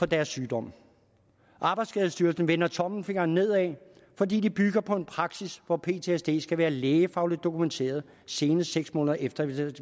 deres sygdom arbejdsskadestyrelsen vender tommelfingeren nedad fordi de bygger på en praksis hvor ptsd skal være lægefagligt dokumenteret senest seks måneder efter